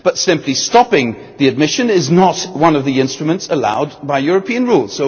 But simply stopping admission is not one of the instruments allowed by European rules.